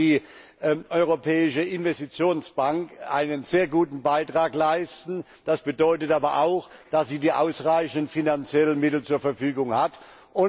Hier kann die Europäische Investitionsbank einen sehr guten Beitrag leisten. Das bedeutet aber auch, dass sie ausreichende finanzielle Mittel zur Verfügung haben muss.